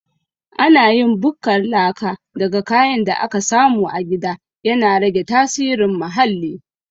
Ana yin bukkar laka daga kayan da ake samu a gida, yana rage tasirin muhalli.